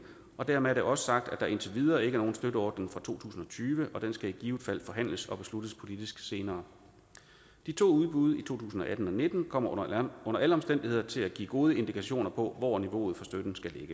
og dermed er det også sagt at der indtil videre ikke er nogen støtteordning fra to tusind og tyve og den skal i givet fald forhandles og besluttes politisk senere de to udbud i to tusind og atten og nitten kommer under alle omstændigheder til at give gode indikationer på hvor niveauet for støtten skal